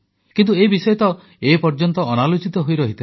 କିନ୍ତୁ ଏ ବିଷୟ ତ ଏପର୍ଯ୍ୟନ୍ତ ଅନାଲୋଚିତ ହୋଇରହିଥିଲା